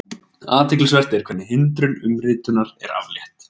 Athyglisvert er hvernig hindrun umritunar er aflétt.